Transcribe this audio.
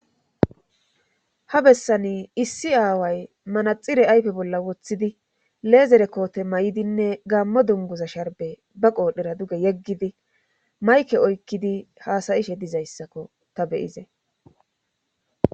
ha bessani issi aaway manaxire ayfe bolla woththidi leezere koote may7idinne gaammo dunguza sharbe ba qoodhera duge yeggidi mayke oykkidi haasayishe dizayssakko ta beyize